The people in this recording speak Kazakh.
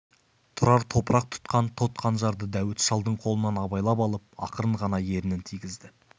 тұрар топырақ тұтқан тот қанжарды дәуіт шалдың қолынан абайлап алып ақырын ғана ернін тигізді